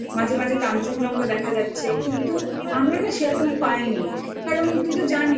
দূরের পাহাড় দেখা যাচ্ছে মাঝে মাঝে কাঞ্চনজঙ্ঘা